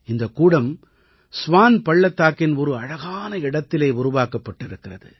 இந்தக் கூடம் ஸ்வான் பள்ளத்தாக்கின் ஒரு அழகான இடத்திலே உருவாக்கப்பட்டிருக்கிறது